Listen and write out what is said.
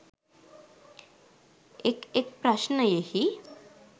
එක් එක් ප්‍රශ්නයෙහි